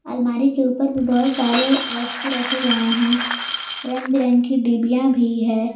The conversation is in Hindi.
अलमारी के ऊपर भी बहुत सारे वस्तु रखे गए हैं रंग बिरंगी डिबिया भी है।